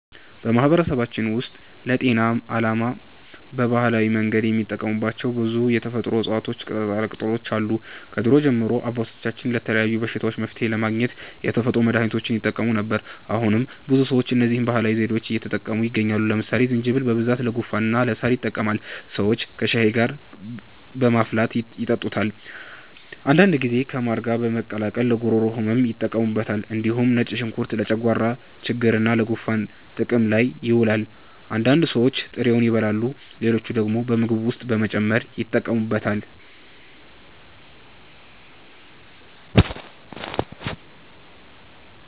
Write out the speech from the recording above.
በማህበረሰባችን ውስጥ ለጤና ዓላማ በባህላዊ መንገድ የሚጠቀሙባቸው ብዙ የተፈጥሮ እፅዋትና ቅጠላቅጠሎች አሉ። ከድሮ ጀምሮ አባቶቻችን ለተለያዩ በሽታዎች መፍትሔ ለማግኘት የተፈጥሮ መድሀኒቶችን ይጠቀሙ ነበር። አሁንም ብዙ ሰዎች እነዚህን ባህላዊ ዘዴዎች እየተጠቀሙ ይገኛሉ። ለምሳሌ ዝንጅብል በብዛት ለጉንፋንና ለሳል ይጠቅማል። ሰዎች ከሻይ ጋር በማፍላት ይጠጡታል። አንዳንድ ጊዜ ከማር ጋር በመቀላቀል ለጉሮሮ ህመም ይጠቀሙበታል። እንዲሁም ነጭ ሽንኩርት ለጨጓራ ችግርና ለጉንፋን ጥቅም ላይ ይውላል። አንዳንድ ሰዎች ጥሬውን ይበላሉ፣ ሌሎች ደግሞ በምግብ ውስጥ በመጨመር ይጠቀሙበታል።